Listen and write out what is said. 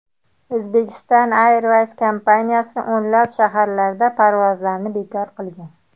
Uzbekistan Airways aviakompaniyasi o‘nlab shaharlarga parvozlarni bekor qilgan .